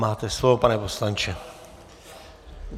Máte slovo, pane poslanče.